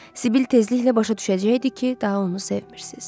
Sibil tezliklə başa düşəcəkdi ki, daha onu sevmirsiniz.